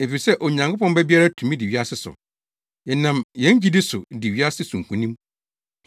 efisɛ Onyankopɔn ba biara tumi di wiase so. Yɛnam yɛn gyidi so di wiase so nkonim.